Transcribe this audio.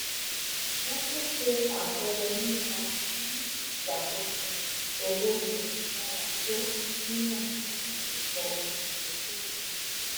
wọn tún ṣe àpẹẹrẹ nípa bí ìṣàkóso owó ṣe dára tó mímọ àti ẹkọ olùdókòwò